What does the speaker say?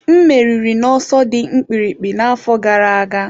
M meriri n'ọsọ dị mkpirikpi n'afọ gara aga.